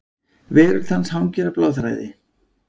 Veröld hans hangir á bláþræði.